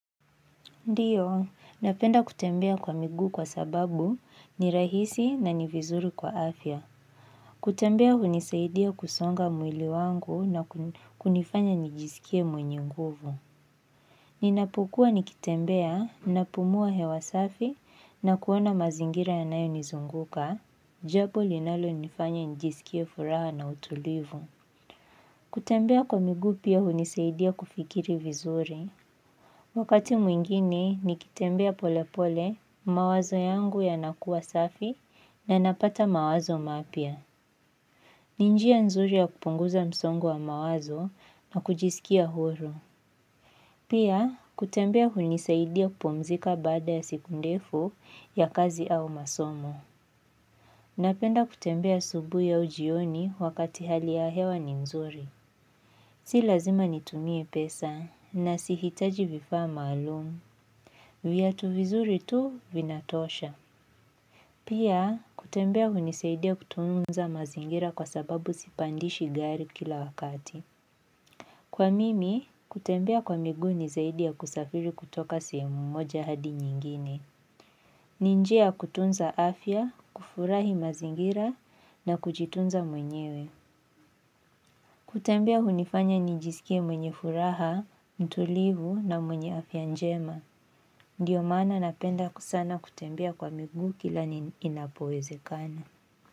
Ndiyo, napenda kutembea kwa miguu kwa sababu ni rahisi na ni vizuri kwa afya. Kutembea hunisaidia kusonga mwili wangu na kunifanya nijisikie mwenye nguvu. Ninapokua nikitembea, napumua hewa safi na kuona mazingira yanayo nizunguka, japo linalo nifanya nijisikie furaha na utulivu. Kutembea kwa migu pia hunisaidia kufikiri vizuri. Wakati mwingine, nikitembea polepole mawazo yangu yanakuwa safi na napata mawazo mapya. Ni njia nzuri ya kupunguza msongo wa mawazo na kujisikia huru. Pia, kutembea hunisaidia kupumzika baada ya siku ndefu ya kazi au masomo. Napenda kutembea asubuhi au jioni wakati hali ya hewa ni nzuri. Si lazima nitumie pesa na sihitaji vifaa maalumu. Viatu vizuri tu vinatosha. Pia, kutembea hunisaidia kutunza mazingira kwa sababu sipandishi gari kila wakati. Kwa mimi, kutembea kwa miguu ni zaidi ya kusafiri kutoka sehemu moja hadi nyingine. Ni njia kutunza afya, kufurahi mazingira na kujitunza mwenyewe. Kutembea hunifanya nijisikie mwenye furaha, mtulivu na mwenye afya njema. Ndiyo maana napenda sana kutembea kwa migu kila inapowezekana.